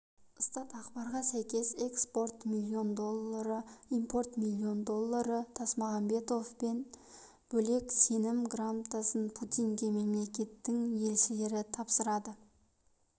статақпарға сәйкес экспорт миллион доллары импорт миллион доллары тасмағамбетовтен бөлек сенім грамотасын путинге мемлекеттің елшілері тапсырады